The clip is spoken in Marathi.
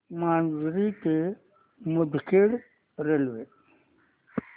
माजरी ते मुदखेड रेल्वे